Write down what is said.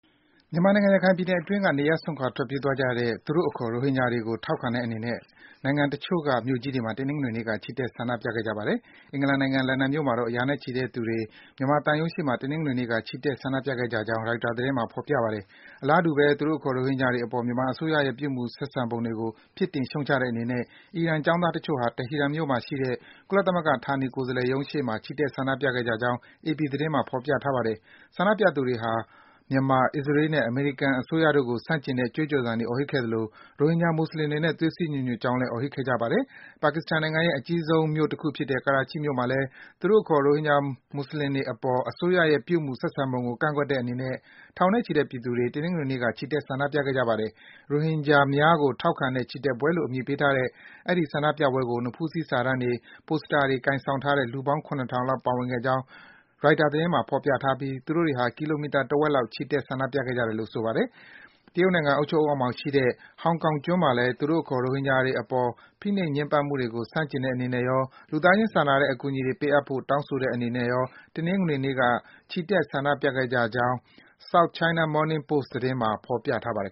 မြန်မာနိုင်ငံ၊ ရခိုင်ပြည်နယ်အတွင်းက နေရပ်စွန့်ခွာ ထွက်ပြေးသွားကြတဲ့ သူတို့အခေါ် ရိုဟင်ဂျာတွေကို ထောက်ခံတဲ့အနေနဲ့ နိုင်ငံတချို့က မြို့ကြီးတွေမှာ တနင်္ဂနွေနေ့က ချီတက် ဆန္ဒပြခဲ့ကြပါတယ်။ အင်္ဂလန်နိုင်ငံ၊ လန်ဒန်မြို့မှာတော့ ရာနဲ့ချီတဲ့သူတွေ မြန်မာသံရုံးရှေ့မှာ တနင်္ဂနွေနေ့က ချီတက် ဆန္ဒပြခဲ့ကြကြောင်း ရိုက်တာ သတင်းမှာ ဖော်ပြထားပါတယ်။ အလားတူပဲ သူတို့အခေါ် ရိုဟင်ဂျာတွေအပေါ် မြန်မာအစိုးရရဲ့ ပြုမူဆက်ဆံပုံတွေကို ပြစ်တင် ရှုတ်ချတဲ့အနေနဲ့ အီရန် ကျောင်းသားတချို့ဟာ တီဟီရန်မြို့မှာရှိတဲ့ ကုလသမဂ္ဂ ဌာနေကိုယ်စားလှယ်ရုံးရှေ့မှာ ချီတက် ဆန္ဒပြခဲ့ကြကြောင်း အေပီ သတင်းမှာ ဖော်ပြထားပါတယ်။ ဆန္ဒပြသူတွေဟာ မြန်မာ၊ အစ္စရေးနဲ့ အမေရိကန် အစိုးရတို့ကို ဆန့်ကျင်တဲ့ ကြွေးကြော်သံတွေ အော်ဟစ်ခဲ့ကြသလို၊ ရိုဟင်ဂျာ မွတ်ဆလင်တွေနဲ့ သွေးစည်း ညီညွတ်ကြောင်းလည်း အော်ဟစ်ခဲ့ကြပါတယ်။ ပါကစ္စတန်နိုင်ငံရဲ့ အကြီးဆုံး မြို့တခုဖြစ်တဲ့ ကရာချိမြို့မှာလည်း သူတို့အခေါ် ရိုဟင်ဂျာ မွတ်ဆလင်တွေအပေါ် မြန်မာအစိုးရရဲ့ ပြုမူ ဆက်ဆံပုံကို ကန့်ကွက်တဲ့အနေနဲ့ ထောင်နဲ့ချီတဲ့ ပြည်သူတွေ တနင်္ဂနွေနေ့က ချီတက် ဆန္ဒပြခဲ့ကြပါတယ်။ ရိုဟင်ဂျာများကို ထောက်ခံတဲ့ ချီတက်ပွဲလို့ အမည်ပေးထားတဲ့ အဲဒီ ဆန္ဒပြပွဲကို နဖူးစည်း စာတန်းတွေ၊ ပိုစတာတွေ ကိုင်ဆောင်ထားတဲ့ လူပေါင်း ၇ ထောင်လောက် ပါဝင်ခဲ့ကြောင်း ရိုက်တာ သတင်းမှာ ဖော်ပြထားပြီး သူတို့တွေဟာ ကီလိုမီတာ တဝက်လောက် ချီတက် ဆန္ဒပြခဲ့ကြတာလို့ ဆိုပါတယ်။ တရုတ်နိုင်ငံ အုပ်ချုပ်မှုအောက်မှာရှိတဲ့ ဟောင်ကောင်ကျွန်းမှာလည်း သူတို့အခေါ် ရိုဟင်ဂျာတွေအပေါ် ဖိနှိပ် ညှဉ်းပန်းမှုတွေကို ဆန့်ကျင်တဲ့အနေနဲ့ရော၊ လူသားချင်း စာနာတဲ့ အကူအညီတွေ ပေးအပ်ဖို့ တောင်းဆိုတဲ့အနေနဲ့ရော တနင်္ဂနွေနေ့က ချီတက် ဆန္ဒပြခဲ့တဲ့ အကြောင်း South China Morning Post သတင်းမှာ ဖော်ပြထားပါတယ်